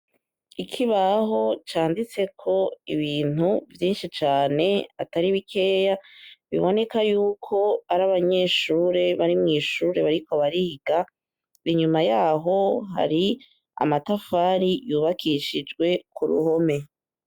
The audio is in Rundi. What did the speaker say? Ikibaho canditseko ibintu vyinshi cane atari bikeya biboneka yuko ari abanyeshure bari mw'ishure bariko bariga inyuma yaho hari amatafari yubakishijwe ku ruhome.